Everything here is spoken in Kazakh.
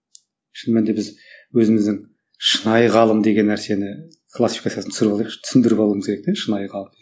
шын мәнінде біз өзіміздің шынайы ғалым деген нәрсені классикасын түсіріп алайықшы түсіндіріп алуымыз керек те шынайы ғалым